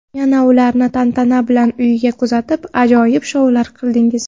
Yana ularni tantana bilan uyiga kuzatib, ajoyib shoular qildingiz.